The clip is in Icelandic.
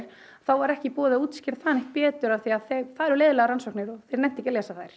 þá var ekki í boði að útskýra það betur af því það eru leiðinlegar rannsóknir og þeir nenntu ekki að lesa þær